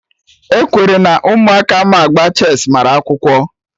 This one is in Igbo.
E kwere na Ụmụaka ma agba chess mara akwụkwọ